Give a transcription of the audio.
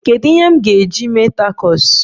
Kedu ihe m ga-eji mee takos?